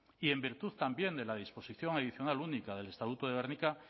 y en virtud también de la disposición adicional única del estatuto de gernika